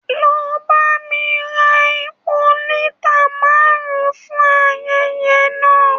Lọ bá mí rà èpò lita márùn-ùn fún ayẹyẹ náà!